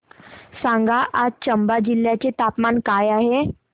सांगा आज चंबा जिल्ह्याचे तापमान काय आहे